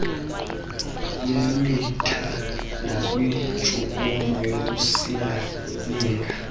lwemitha nakwintshukumo yokusingasinga